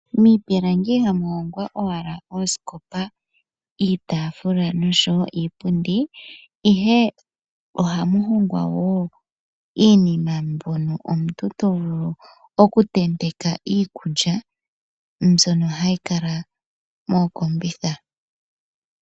Miipilangi ihamu hongwa owala iitafula, oosikopa oshowo iipundi, ihe ohamu hongwa wo iinima mpono omuntu tovulu oku tenteka iikulya mbyono hayi kala mookombitha.